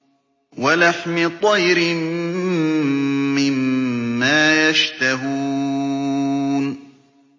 وَلَحْمِ طَيْرٍ مِّمَّا يَشْتَهُونَ